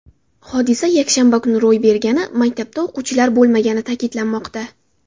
Hodisa yakshanba kuni ro‘y bergani, maktabda o‘quvchilar bo‘lmagani ta’kidlanmoqda.